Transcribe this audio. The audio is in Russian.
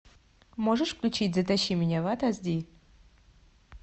можешь включить затащи меня в ад аш ди